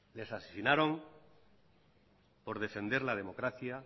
les asesinaron por defender la democracia